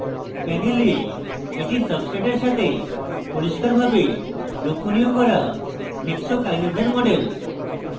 panel এটি সাব্সট্রেটের সাথে পরিষ্কারভাবে লক্ষনীয় করা hexokinase এর model